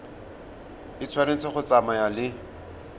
e tshwanetse go tsamaya le